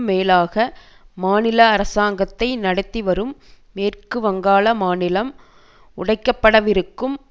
மேலாக மாநில அரசாங்கத்தை நடத்திவரும் மேற்கு வங்காள மாநிலம் உடைக்கப்படவிருக்கும்